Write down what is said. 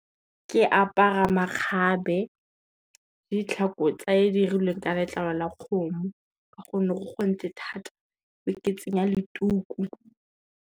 Ke apara makgabe, le ditlhako tse di irilweng ka letlalo la kgomo ka gonne go gontle thata, be ke tsenya le tuku.